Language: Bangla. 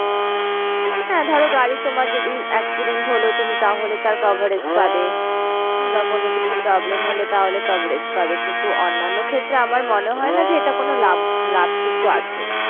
হ্যাঁ ধরো গাড়ি তোমার যদি accident হলো তুমি তাহলে তার coverage পাবে। বা কোনো কিছু problem হলো তাহলে coverage পাবে। কিন্তু অন্যান্য ক্ষেত্রে আমার মনে হয় না যে এটা কোনো লাভ, লাভ কিছু আছে